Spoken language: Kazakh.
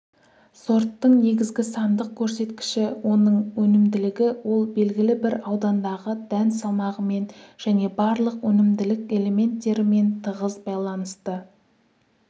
сорттың негізгі сандық көрсеткіші оның өнімділігі ол белгілі бір аудандағы дән салмағымен және барлық өнімділік элементтерімен тығыз байланысты